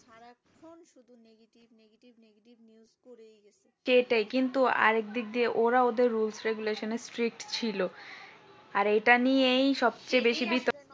সেটাই কিন্তু আরেক দিক দিয়ে ওরাও ওদের rules regulations এ strict ছিল আর এটা নিয়েই সবচেয়ে বেশি